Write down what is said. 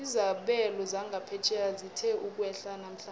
izabelo zangaphetjheya zithe ukwehla namhlanje